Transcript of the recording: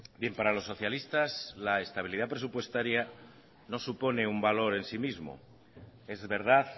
bien para los socialistas la estabilidad presupuestaria no supone un valor en sí mismo es verdad